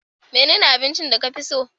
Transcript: menene abincin da ka fi so?